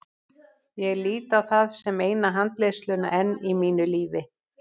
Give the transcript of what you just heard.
Ég lít á það sem eina handleiðsluna enn í mínu lífi.